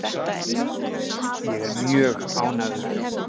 Ég er mjög ánægður.